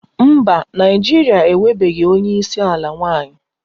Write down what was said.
Mba, Naịjirịa enwebeghị onye isi ala nwanyị